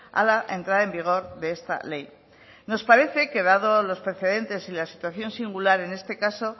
a la entrada en vigor de esta ley nos parece que dado los precedentes y la situación singular en este caso